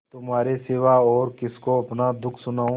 तुम्हारे सिवा और किसको अपना दुःख सुनाऊँ